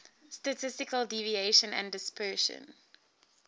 statistical deviation and dispersion